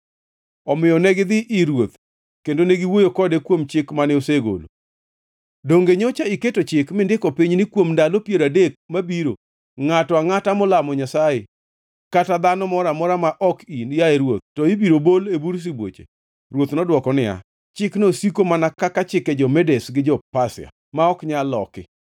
Omiyo negidhi ir ruoth kendo ne giwuoyo kode kuom chik mane osegolo: Donge nyocha iketo chik mindiko piny ni kuom ndalo piero adek mabiro ngʼato angʼata molamo nyasaye kata dhano moro amora ma ok in, yaye ruoth, to ibiro bol e bur sibuoche? Ruoth nodwoko niya, “Chikno osiko mana kaka chike jo-Medes gi jo-Pasia, ma ok nyal loki.”